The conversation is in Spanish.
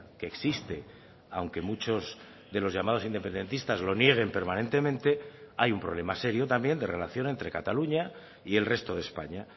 que existe aunque muchos de los llamados independentistas lo nieguen permanentemente hay un problema serio también de relación entre cataluña y el resto de españa